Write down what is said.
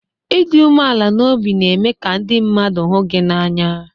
Ịdị umeala n'obi na-eme ka ndị mmadụ hụ gị n'anya